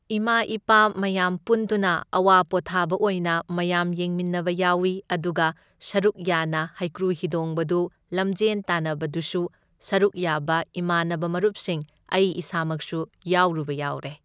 ꯏꯃꯥ ꯏꯄꯥ ꯃꯌꯥꯝ ꯄꯨꯟꯗꯨꯅ ꯑꯋꯥ ꯄꯣꯊꯥꯕ ꯑꯣꯏꯅ ꯃꯌꯥꯝ ꯌꯦꯡꯃꯤꯟꯅꯕ ꯌꯥꯎꯏ ꯑꯗꯨꯒ ꯁꯔꯨꯛ ꯌꯥꯅ ꯍꯩꯀ꯭ꯔꯨ ꯍꯤꯗꯣꯡꯕꯗꯨ ꯂꯝꯖꯦꯟ ꯇꯥꯟꯅꯕꯗꯨꯁꯨ ꯁꯔꯨꯛ ꯌꯥꯕ ꯏꯃꯥꯟꯅꯕ ꯃꯔꯨꯞꯁꯤꯡ ꯑꯩ ꯏꯁꯥꯃꯛꯁꯨ ꯌꯥꯎꯔꯨꯕ ꯌꯥꯎꯔꯦ꯫